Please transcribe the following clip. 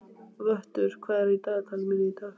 Vöttur, hvað er í dagatalinu mínu í dag?